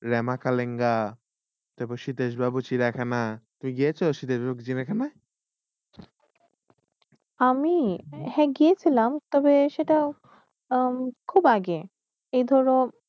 রেমাকালেঙ্গা, দেবশিটেশ বাবু সিরিয়াখানা। গিয়েস শিটেশ বাবু সিরিয়াখানা? আমি! হে গিয়ে শিলাম, তবে সেইটাও খুব আগে, এ ধর